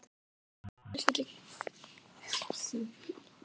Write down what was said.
Elsku afi, hvíl í friði.